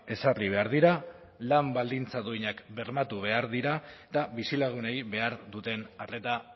ezarri behar dira lan baldintza duinak bermatu behar dira eta bizilagunei behar duten arreta